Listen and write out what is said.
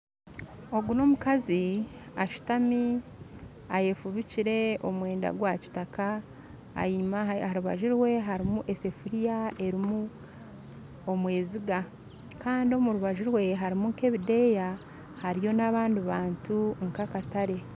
Ogu n'omukazi ashutami eyefubikire omwenda gwa kitaka enyuma aharubaju rwe harumu esafuriya erumu omweziga kandi omurubaju rwe harumu nk'ebideya hariyo n'abandi bantu nka akatare.